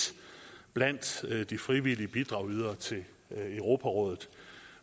blandt de frivillige bidragsydere til europarådet